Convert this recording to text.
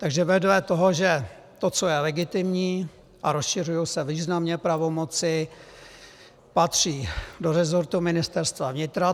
Takže vedle toho, že to, co je legitimní, a rozšiřují se významně pravomoci, patří do resortu Ministerstva vnitra.